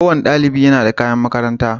Kowane ɗaliɓ yana da kaƴan maƙaranta